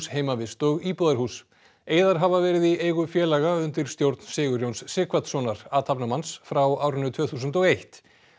heimavist og íbúðarhús eiðar hafa verið í eigu félaga undir stjórn Sigurjóns Sighvatssonar athafnamanns frá árinu tvö þúsund og eitt